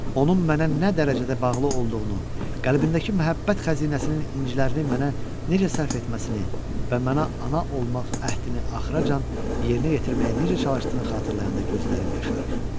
Onun mənə nə dərəcədə bağlı olduğunu, qəlbindəki məhəbbət xəzinəsinin incilərini mənə necə sərf etməsini və mənə ana olmaq əhdini axıra qədər yerinə yetirməyə necə çalışdığını xatırlayanda gözlərim yaşarır.